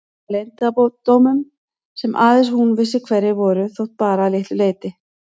Full af leyndardómum sem aðeins hún vissi hverjir voru þó bara að litlu leyti.